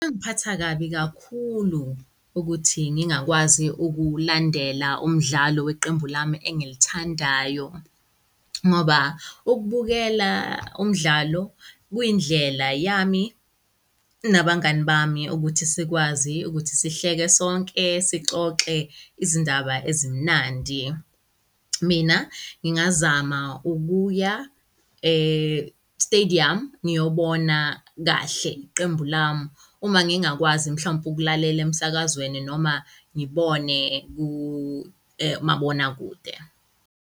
Kungangiphatha kabi kakhulu ukuthi ngingakwazi ukulandela umdlalo weqembu lami engilithandayo ngoba ukubukela umdlalo kuyindlela yami nabangani bami ukuthi sikwazi ukuthi sihleke sonke, sixoxe izindaba ezimnandi. Mina ngingazama ukuya e-stadium ngiyobona kahle iqembu lami uma ngingakwazi mhlawumpe ukulalela emsakazweni noma ngibone kumabonakude